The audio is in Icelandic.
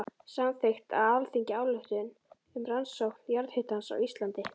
Samþykkt á Alþingi ályktun um rannsókn jarðhitans á Íslandi.